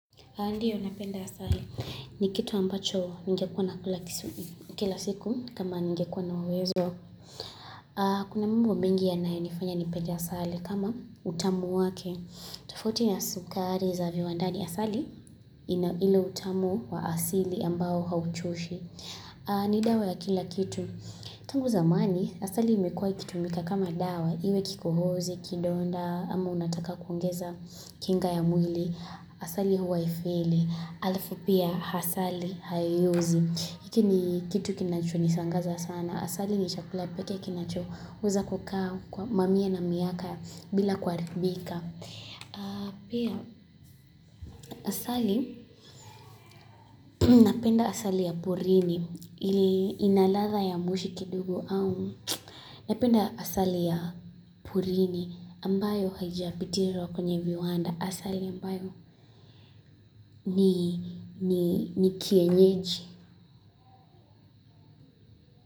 Ndio napenda asali. Ni kitu ambacho ningekuwa nakula kila siku kama ninge kuwa na uwezo. Kuna mambo mengi yanayo nifanya ni pende asali kama utamu wake. Tofauti na sukari za viwandani. Asali ile utamu wa asili ambao hauchoshi. Ni dawa ya kila kitu. Tangu zamani asali imekuwa ikitumika kama dawa. Iwe kikohozi, kidonda, ama unataka kuongeza kinga ya mwili. Asali haifeli, halafu pia asali haiozi. Hiki ni kitu kinacho nishangaza sana. Asali ni chakula peke kinachoweza kukaa kwa mamia na miaka bila kuharibika. Pia asali napenda asali ya porini ina ladha ya moshi kidogo au napenda asali ya porini ambayo haijapikiwa kwenye viwanda asali ambayo ni kienyeji.